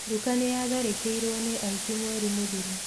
Nduka nĩyatharĩkĩirwo nĩ aici mweri mũthiru